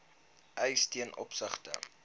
eis ten opsigte